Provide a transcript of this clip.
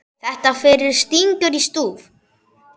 Þetta fyrir stingur í stúf.